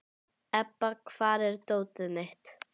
Ebba, hvar er dótið mitt?